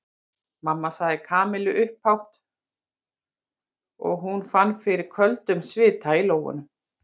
Mamma sagði Kamilla upphátt og hún fann fyrir köldum svita í lófunum.